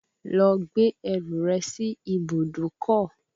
Lọ gbé ẹrù rẹ sí ibùdókọ̀